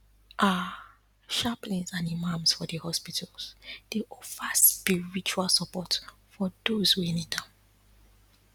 ah chaplains and imams for the hospitals dey offer spiritual support for doze wey need am